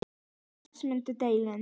Bera glas mun delinn.